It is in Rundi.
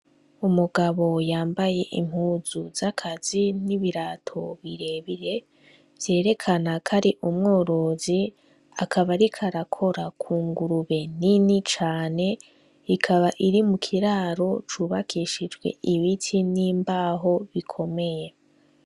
Umugabo yambaye impuzu zakazi n'ibirato birebire vyerekana ko ari umworozi akaba ariko arakora k'ungurube nini cane ikaba iri m'ukiraro c'ubakishijwe ibiti n'imbaho bikomeye.